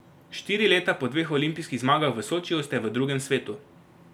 Štiri leta po dveh olimpijskih zmagah v Sočiju ste v drugem svetu.